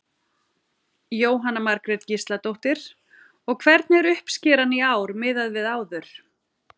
Jóhanna Margrét Gísladóttir: Og hvernig er uppskeran í ár miðað við áður?